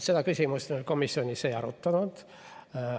Seda küsimust me komisjonis ei arutanud.